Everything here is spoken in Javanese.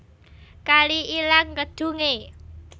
Kali ilang kedhunge